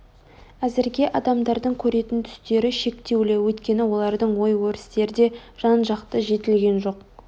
Әзірге адамдардың көретін түстері шектеулі өйткені олардың ой-өрістері де жан-жақты жетілген жоқ